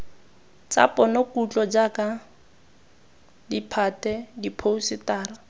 tsa ponokutlo jaaka ditphate diphousetara